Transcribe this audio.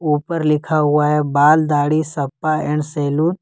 ऊपर लिखा हुआ है बाल दाढ़ी सपा एंड सैलू--